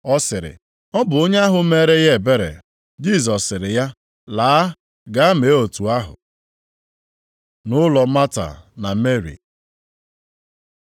Ọ sịrị, “Ọ bụ onye ahụ meere ya ebere.” Jisọs sịrị ya, “Laa, gaa mee otu ahụ.” Nʼụlọ Mata na Meri